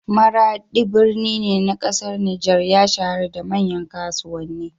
Maraɗi, birni ne na ƙasar Nijar, ya shahara da manyan kasuwanni.